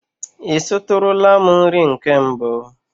I sitụrụla m nri nke mbụ?